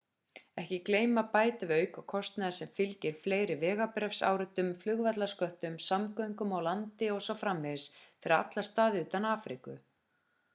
ekki gleyma að bæta við aukakostnaði sem fylgir fleiri vegabréfsáritunum flugvallarsköttum samgöngum á landi o.s.frv fyrir alla staði utan afríku